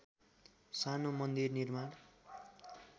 सानो मन्दिर निर्माण